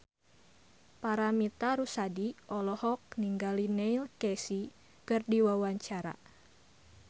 Paramitha Rusady olohok ningali Neil Casey keur diwawancara